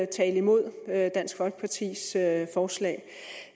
tale imod dansk folkepartis forslag